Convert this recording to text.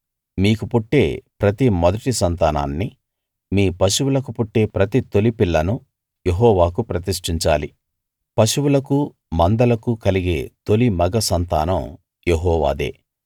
మీకు పుట్టే ప్రతి మొదటి సంతానాన్ని మీ పశువులకు పుట్టే ప్రతి తొలి పిల్లను యెహోవాకు ప్రతిష్ఠించాలి పశువులకు మందలకు కలిగే తొలి మగ సంతానం యెహోవాదే